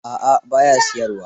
A'a, ba ya siyarwa.